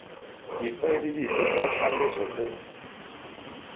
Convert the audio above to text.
difaele dipe tsa ditlhaloso tse